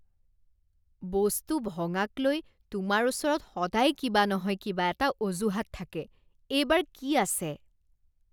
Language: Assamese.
বস্তু ভঙাকলৈ তোমাৰ ওচৰত সদায় কিবা নহয় কিবা এটা অজুহাত থাকে। এইবাৰ কি আছে?